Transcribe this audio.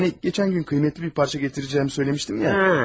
Hani keçən gün qiymətli bir parça gətirəcəyimi söyləmişdim ya?